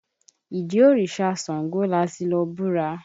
Ìdí óríṣá ṣàngó lati lọ búra.